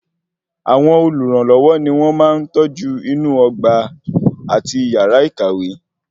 Àwọn olùrànlọwọ ní wọn máa ń tọ́jú inú ọgbà àti yàrá ìkàwé